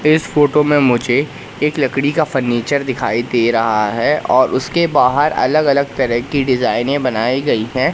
इस फोटो मे मुझे एक लकड़ी का फर्नीचर दिखाई दे रहा है और उसके बाहर अलग अलग तरह की डिजाइने बनाई गई है।